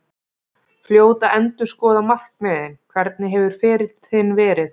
Fljót að endurskoða markmiðin Hvernig hefur ferill þinn verið?